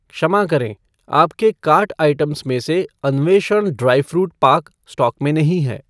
क्षमा करें, आपके कार्ट आइटम में से अन्वेषण ड्राई फ़्रूट पाक स्टॉक में नहीं है